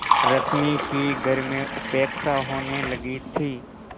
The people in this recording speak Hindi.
रश्मि की घर में उपेक्षा होने लगी थी